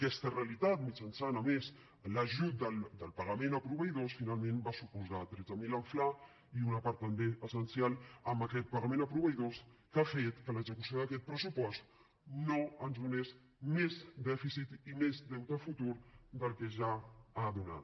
aquesta realitat mitjançant a més l’ajut del pagament a proveïdors finalment va suposar tretze mil en fla i una part també essencial amb aquest pagament a proveïdors que ha fet que l’execució d’aquest pressupost no ens donés més dèficit i més deute futur del que ja ha donat